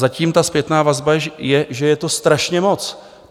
Zatím ta zpětná vazba je, že je to strašně moc.